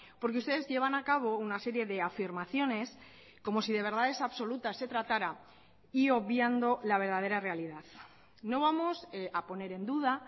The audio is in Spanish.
porque ustedes llevan a cabo una serie de afirmaciones como si de verdades absoluta se tratara y obviando la verdadera realidad no vamos a poner en duda